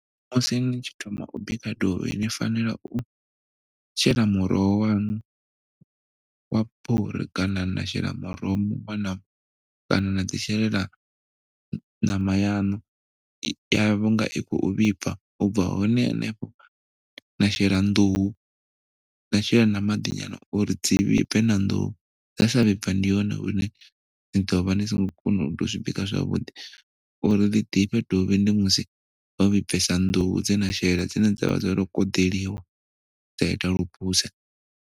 Musi ni tshi thoma u bika dovhi ni fanela u shela muroho waṋu wa fhuri kana na shela muruho muṅwe na muṅwe kana na ḓi shelela ṋama yaṋu ya vho nga i khou vhibva u bva hone hanefho na shela nḓuhu na shela na maḓi nyana uri dzi vhibve na nḓuhu dza sa vhibva ndi hone une na ḓo vha ni songo kona u zwi bika zwavhuḓi. Uri ḽi ḓifhe dovhi ndi musi ho vhibvesa nḓuhu dze na shela dzine dza vha dzo koḓeliwa dza ita lu phuse.